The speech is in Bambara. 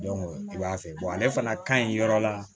i b'a fɛ ale fana ka ɲi yɔrɔ la